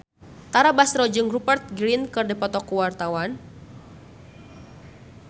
Tara Basro jeung Rupert Grin keur dipoto ku wartawan